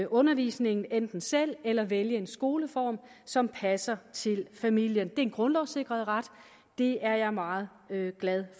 undervisningen enten selv eller ved at vælge en skoleform som passer til familien det er en grundlovssikret ret det er jeg meget glad